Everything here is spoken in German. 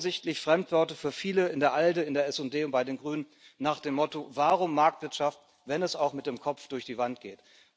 Offensichtlich Fremdworte für viele in der ALDE, in der SD und bei den Grünen, nach dem Motto warum Marktwirtschaft, wenn es auch mit dem Kopf durch die Wand geht?